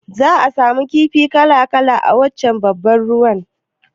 Za'a samu kifi kala-kala a wancan babban ruwan